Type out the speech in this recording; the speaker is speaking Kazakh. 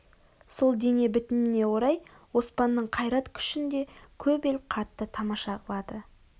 сол дене бітіміне орай оспанның қайрат-күшін де көп ел қатты тамаша қылады